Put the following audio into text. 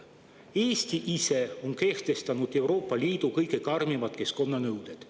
Eesti ise on kehtestanud Euroopa Liidu kõige karmimad keskkonnanõuded.